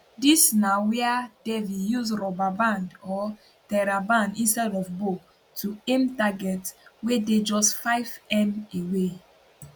dis na wia devi use rubber band or theraband instead of bow to aim targets wey dey just 5m away